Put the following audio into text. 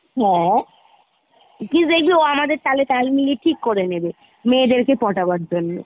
হ্যাঁ , কী দেখবি ও আমাদের তালে তাল মিলিয়ে ঠিক করিয়ে নেবে , মেয়েদেরকে পটানোর জন্য